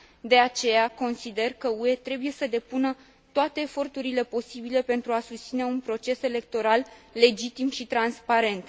De aceea, consider că UE trebuie să depună toate eforturile posibile pentru a susține un proces electoral legitim și transparent.